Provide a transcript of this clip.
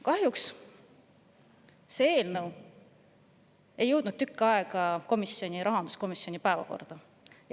Kahjuks ei jõudnud meie eelnõu tükk aega rahanduskomisjoni päevakorda.